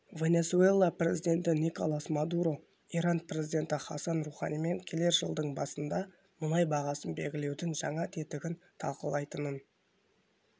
венесуэла президентіниколас мадуро иран президенті хасан руханимен келер жылдың басында мұнай бағасын белгілеудің жаңа тетігін талқылайтынын